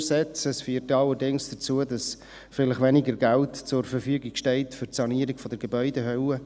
Das führt dann allerdings dazu, dass vielleicht weniger Geld zur Verfügung steht für die Sanierung der Gebäudehülle.